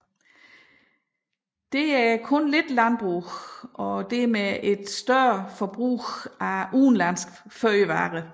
Der er kun lidt landbrug og dermed et større forbrug af udenlandske fødevarer